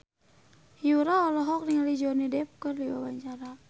Yura olohok ningali Johnny Depp keur diwawancara